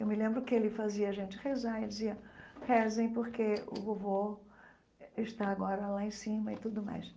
Eu me lembro que ele fazia a gente rezar e dizia, rezem porque o vovô está agora lá em cima e tudo mais.